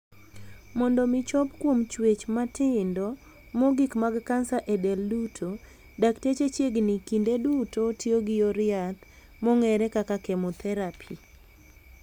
Mondo mi chop kuom chuech matindo mogik mag kansa e del duto, dakteche chiegni kinde duto tiyo gi yor yath, mong'ere kaka 'chemotherapy'.